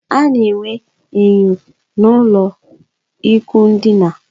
A na enwe enyo n'ulo ikwụ ndina